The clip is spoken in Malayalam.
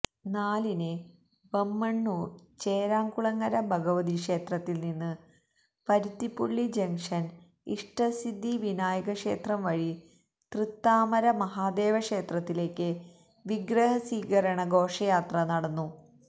നാലിന് ബമ്മണ്ണൂർ ചെരാംകുളങ്ങര ഭഗവതിക്ഷേത്രത്തിൽനിന്ന് പരുത്തിപ്പുള്ളി ജങ്ഷൻ ഇഷ്ടസിദ്ധി വിനായകക്ഷേത്രംവഴി തൃത്താമര മഹാദേവക്ഷേത്രത്തിലേക്ക് വിഗ്രഹസ്വീകരണഘോഷയാത്ര നടന്നു